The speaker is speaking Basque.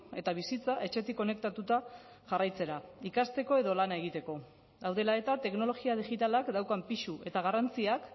eta bizitza etxetik konektatuta jarraitzera ikasteko edo lana egiteko hau dela eta teknologia digitalak daukan pisu eta garrantziak